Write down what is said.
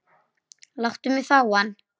Láttu mig fá hann.